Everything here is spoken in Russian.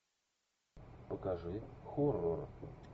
покажи хоррор